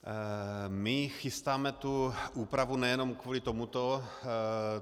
My chystáme tu úpravu nejenom kvůli tomuto.